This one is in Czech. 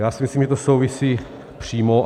Já si myslím, že to souvisí přímo.